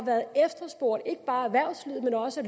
efterspurgt ikke bare erhvervslivet men også